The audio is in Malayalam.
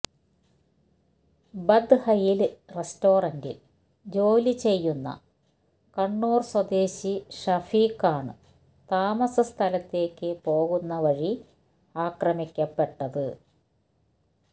ബത്ഹയില് റെസ്റ്റോറന്റില് ജോലി ചെയ്യുന്ന കണ്ണൂര് സ്വദേശി ഷഫീഖാണ് താമസ സ്ഥലത്തേക്ക് പോകുന്നവഴി ആക്രമിക്കപ്പെട്ടത്